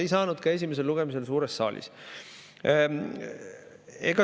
Ei kuulnud ka esimesel lugemisel suures saalis.